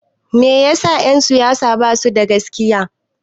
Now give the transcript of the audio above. Meyasa en siyasa basu da gaskiya?